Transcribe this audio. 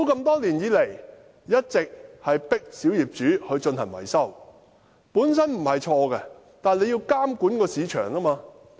多年來，政府一直迫使小業主進行維修，此舉本身沒有錯，但政府應要監管市場。